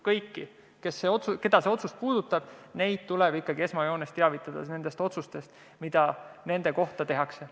Kõiki, keda see otsus puudutab, tuleb teavitada otsustest, mida nende kohta tehakse.